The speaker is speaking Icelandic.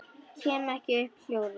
Kem ekki upp hljóði.